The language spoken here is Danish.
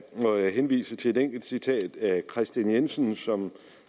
må jeg henvise til et enkelt citat herre kristian jensen som